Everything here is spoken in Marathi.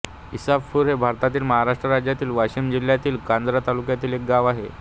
इसाफपूर हे भारतातील महाराष्ट्र राज्यातील वाशिम जिल्ह्यातील कारंजा तालुक्यातील एक गाव आहे